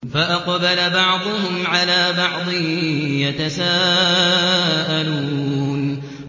فَأَقْبَلَ بَعْضُهُمْ عَلَىٰ بَعْضٍ يَتَسَاءَلُونَ